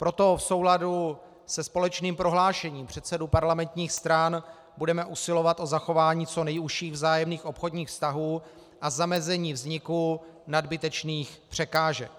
Proto v souladu se společným prohlášením předsedů parlamentních stran budeme usilovat o zachování co nejužších vzájemných obchodních vztahů a zamezení vzniku nadbytečných překážek.